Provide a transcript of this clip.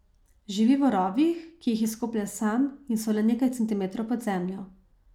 Živi v rovih, ki jih izkoplje sam in so le nekaj centimetrov pod zemljo.